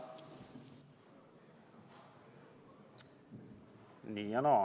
Nii ja naa.